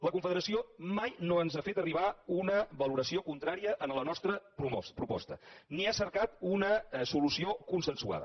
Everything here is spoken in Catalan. la confederació mai no ens ha fet arribar una valoració contrària a la nostra proposta ni ha cercat una solució consensuada